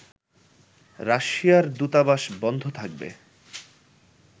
রাশিয়ার দূতাবাস বন্ধ থাকবে